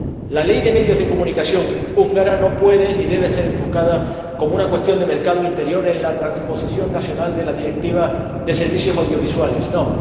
La Ley de comunicación húngara no puede ni debe ser enfocada como una cuestión de mercado interior en la transposición nacional de la Directiva de servicios audiovisuales, ¡no!